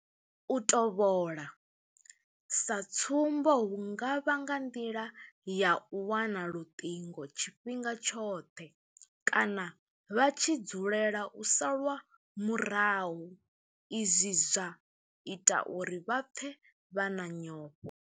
U tovhola, sa tsumbo hu nga vha nga nḓila ya u wana luṱingo tshifhinga tshoṱhe kana vha tshi dzulela u salwa murahu izwi zwa ita uri vha pfe vha na nyofho.